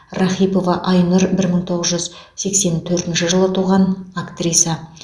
рахипова айнұр бір мың тоғыз жүз сексен төртінші жылы туған актриса